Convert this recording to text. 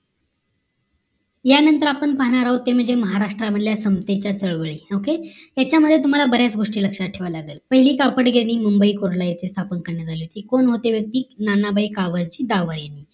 यानंतर आपण पाहणार आहोत महाराष्ट्र मधल्या समतेचा चळवळी ओक यांच्यामध्ये तुम्हाला बऱ्याच गोष्टी लक्ष्यात ठेवावा लागेल पहिली थापड गेली मुंबई येथे कुर्ला येथे स्थापन करण्यात अली होती कोण होती व्यक्ती ननजाईक गावाची जावई